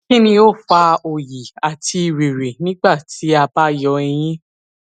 kini o fa oyi ati riri nigbati a ba yọ eyin